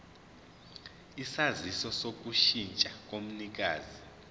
isaziso sokushintsha komnikazi